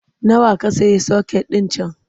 Nawa ka sayi soket ɗin can?